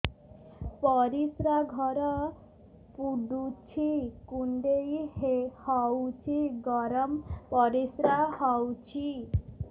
ପରିସ୍ରା ଘର ପୁଡୁଚି କୁଣ୍ଡେଇ ହଉଚି ଗରମ ପରିସ୍ରା ହଉଚି